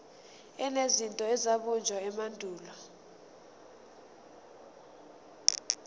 enezinto ezabunjwa emandulo